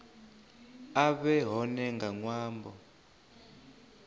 a vhe hone nga ṅwambo